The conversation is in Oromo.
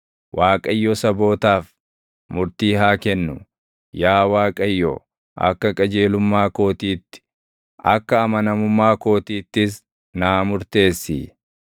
Waaqayyo sabootaaf murtii haa kennu. Yaa Waaqayyo, akka qajeelummaa kootiitti, akka amanamummaa kootiittis naa murteessi.